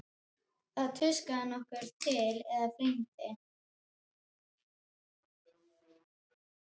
Þá tuskaði hann okkur til eða flengdi.